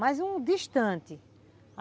Mas um distante.